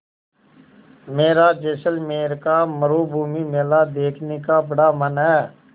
मेरा जैसलमेर का मरूभूमि मेला देखने का बड़ा मन है